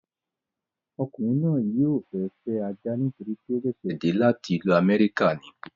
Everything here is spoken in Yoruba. Ọkùnrin náà yóò fẹ́ fẹ́ ajá nítorí pé ó sẹ̀sẹ̀ dé láti ìlú amẹ́ríkà ni